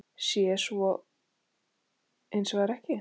Svo sé hins vegar ekki.